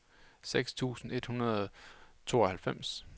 syv tusind et hundrede og tooghalvfems